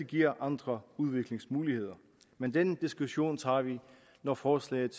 giver andre udviklingsmuligheder men den diskussion tager vi når forslaget